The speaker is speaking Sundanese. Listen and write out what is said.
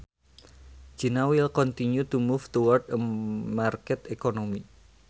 China will continue to move towards a market economy